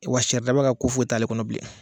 Wa sari daba ka ko foyi t'ale kɔnɔ bilen